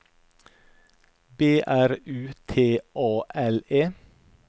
B R U T A L E